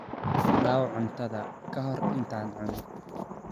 daaw cuntadaada ka hor intaadan cunin.